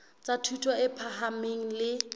tsa thuto e phahameng le